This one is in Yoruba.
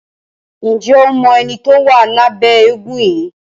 Njé o mọ ẹní tó wá Lábé éégun yí?